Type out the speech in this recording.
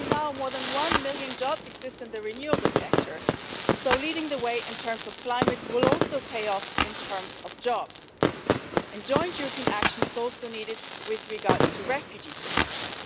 Already, more than one million jobs exist in the renewable sector, so leading the way as regards the climate will also pay off in terms of jobs. Joint European action is also needed with regard to refugee protection.